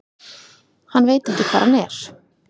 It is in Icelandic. Hann veit ekki hvar hann er.